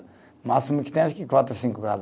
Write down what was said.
O máximo que tem acho que quatro, cinco casa